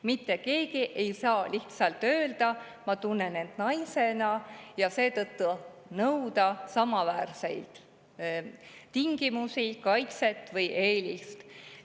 Mitte keegi ei saa lihtsalt öelda, ma tunnen end naisena, ja seetõttu nõuda samaväärseid tingimusi, kaitset või eelist.